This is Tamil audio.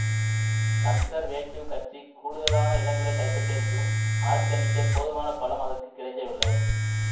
கன்சர்வேட்டிவ் கட்சி கூடுதலான இடங்களை கைப்பற்றியிருந்தும் ஆட்சியமைக்கப் போதுமான பலம் அதற்கு கிடைக்கவில்லை